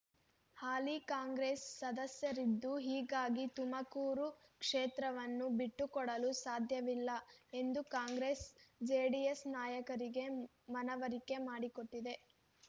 ಹಾಲಿ ಕಾಂಗ್ರೆಸ್ ಸಂಸದರಿದ್ದು ಹೀಗಾಗಿ ತುಮಕೂರು ಕ್ಷೇತ್ರವನ್ನು ಬಿಟ್ಟುಕೊಡಲು ಸಾಧ್ಯವಿಲ್ಲ ಎಂದು ಕಾಂಗ್ರೆಸ್ ಜೆಡಿಎಸ್ ನಾಯಕರಿಗೆ ಮನವರಿಕೆ ಮಾಡಿಕೊಟ್ಟಿದೆ